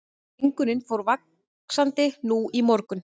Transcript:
Mengunin fór vaxandi nú í morgun